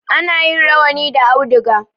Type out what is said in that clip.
Ana yin rawani da auduga.